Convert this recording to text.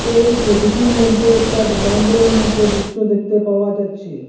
এই সবিটির মইধ্যে একটা দুকান গরের মত দৃশ্য দেখতে পাওয়া যাচ্ছে।